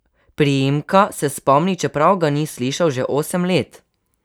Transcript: Priimka se spomni, čeprav ga ni slišal že osem let.